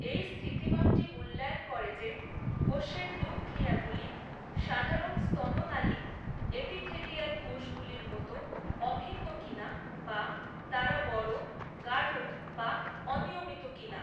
এই স্থিতিমাপটি মূল্যায়ন করে যে কোষের নিউক্লিয়াগুলি সাধারণ স্তন নালী এপিথেলিয়াল কোষগুলির মতো অভিন্ন কিনা বা তারা বড়, গাঢ় বা অনিয়মিত কিনা।